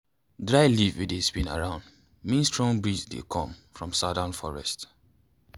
dry leaf wey dey spin round mean strong breeze dey come from southern forest.